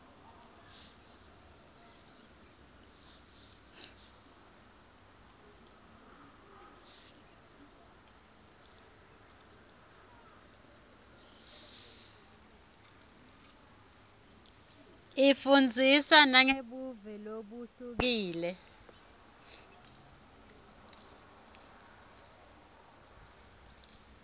ifundzisa nangebuve lobuhlukile